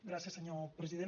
gràcies senyor president